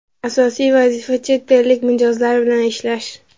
Asosiy vazifa chet ellik mijozlar bilan ishlash.